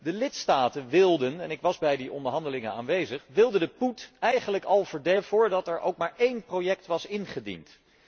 De lidstaten wilden en ik was bij die onderhandelingen aanwezig de poet eigenlijk al verdelen voordat er ook maar één project was ingediend.